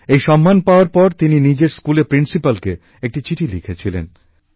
এই সম্মান পাওয়ার পর তিনি নিজের স্কুলের প্রিন্সিপ্যালকে একটা চিঠি লিখেছিলেন